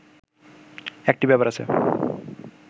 একটি ব্যাপার আছে